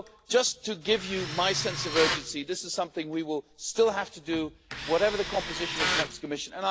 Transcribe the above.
Just to give you my sense of urgency, this is something we will still have to do, whatever the composition of the next Commission.